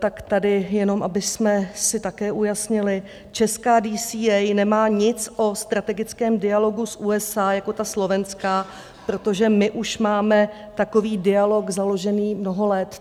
Tak tady jen abychom si také ujasnili: česká DCA nemá nic o strategickém dialogu s USA jako ta slovenská, protože my už máme takový dialog založený mnoho let.